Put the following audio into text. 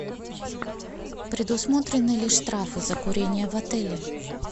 предусмотрены ли штрафы за курение в отеле